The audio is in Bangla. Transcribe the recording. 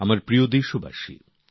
আমার প্রিয় দেশবাসীগণ